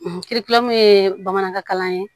kiribulon min ye bamanankan kalan ye